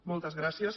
moltes gràcies